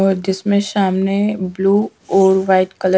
और जिसमें शामने ब्लू और वाइट कल।